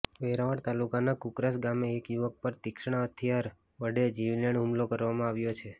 વેરાવળ તાલુકાના કુકરાશ ગામે એક યુવક પર તીક્ષ્ણ હથિયાર વડે જીવલેણ હુમલો કરવામાં આવ્યો છે